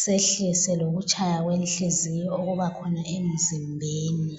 sehlise lokutshaya kwenhliziyo okuba khona emzimbeni.